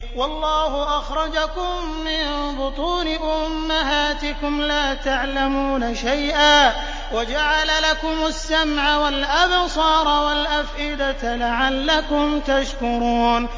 وَاللَّهُ أَخْرَجَكُم مِّن بُطُونِ أُمَّهَاتِكُمْ لَا تَعْلَمُونَ شَيْئًا وَجَعَلَ لَكُمُ السَّمْعَ وَالْأَبْصَارَ وَالْأَفْئِدَةَ ۙ لَعَلَّكُمْ تَشْكُرُونَ